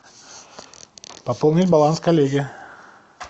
пополнить баланс коллеге